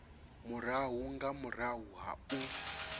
murahu nga murahu ha u